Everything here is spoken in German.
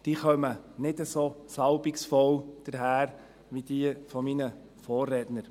Sie kommen nicht so salbungsvoll daher wie diejenigen meiner Vorredner.